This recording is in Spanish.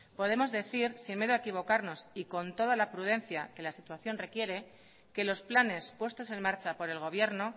podemos decir sin miedo a equivocarnos y con toda la prudencia que la situación requiere que los planes puestos en marcha por el gobierno